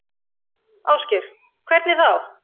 Ásgeir: Hvernig þá?